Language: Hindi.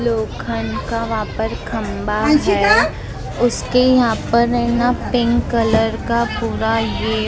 लोखंड का वहाँ पर खंबा है उसके यहाँ पर ने ना पिंक कलर का पूरा ये फ्ला--